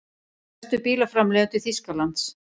Stærstu bílaframleiðendur Þýskalands.